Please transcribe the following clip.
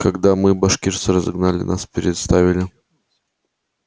когда мы башкирцы разогнали нас представили